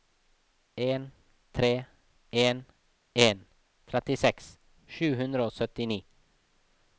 en tre en en trettiseks sju hundre og syttini